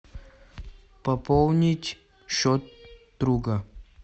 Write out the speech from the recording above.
пополнить счет друга